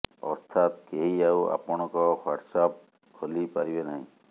ଅର୍ଥାତ୍ କେହି ଆଉ ଆପଣଙ୍କ ହ୍ବାଟ୍ସଆପ ଖୋଲି ପାରିବେ ନାହିଁ